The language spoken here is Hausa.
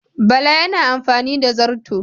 Bala yana amfani da zarto